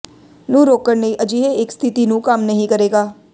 ਨੂੰ ਰੋਕਣ ਲਈ ਅਜਿਹੇ ਇੱਕ ਸਥਿਤੀ ਨੂੰ ਕੰਮ ਨਹੀ ਕਰੇਗਾ